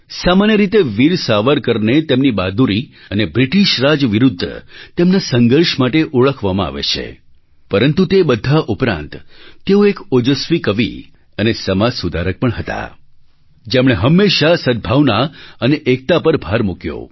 સામાન્ય રીતે વીર સાવરકરને તેમની બહાદૂરી અને બ્રિટિશ રાજ વિરુદ્ધ તેમના સંઘર્ષ માટે ઓળખવામાં આવે છે પરંતુ તે બધા ઉપરાંત તેઓ એક ઓજસ્વી કવિ અને સમાજ સુધારક પણ હતા જેમણે હંમેશાં સદ્ભવાના અને એકતા પર ભાર મૂક્યો